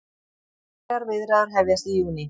Formlegar viðræður hefjast í júní